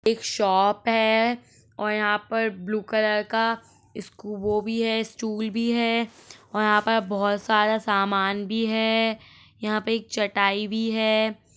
एक शॉप है और यहाँ पर ब्लू कलर का इसकू वो भी है स्टूल भी है और यहाँ पर बहोत सारा सामान भी है यहाँ पे एक चटाई भी है।